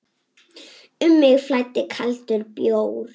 Um mig flæddi kaldur bjór.